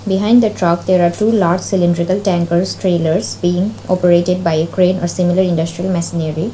behind the truck there are two large cylindrical tankers trailors being operated by a crane or similar industrial machinery.